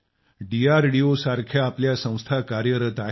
DRDO सारख्या आपल्या संस्था कार्यरत आहेत